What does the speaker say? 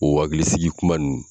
O waklisigi kuma nun